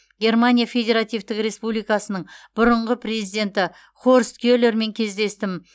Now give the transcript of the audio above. германия федеративтік республикасының бұрынғы президенті хорст келермен кездестім